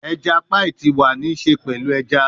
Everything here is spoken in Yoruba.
Eja paii ti wa ni ṣe pẹlu eja